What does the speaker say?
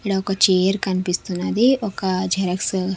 ఇక్కడ ఒక చైర్ కనిపిస్తున్నది ఒక జిరాక్స్ .